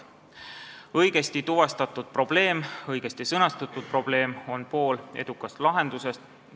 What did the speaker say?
Õigesti tuvastatud ja õigesti sõnastatud probleem on pool edukast lahendusest.